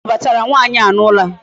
Onye nụbatara nwaanyị a n'ụlọ a?